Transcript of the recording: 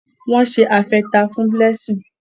Wón se atefa fún Blessing.